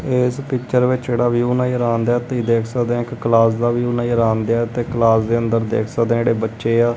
ਇਸ ਪਿਕਚਰ ਵਿੱਚ ਜਿਹੜਾ ਵਿਊ ਨਜ਼ਰ ਆਉਣ ਡਿਆ ਤੁਸੀਂ ਦੇਖ ਸਕਦੇ ਹ ਕਿ ਕਲਾਸ ਦਾ ਵਿਊ ਨਜ਼ਰ ਆਉਣ ਡਿਆ ਤੇ ਕਲਾਸ ਦੇ ਅੰਦਰ ਦੇਖ ਸਕਦੇ ਜਿਹੜੇ ਬੱਚੇ ਆ।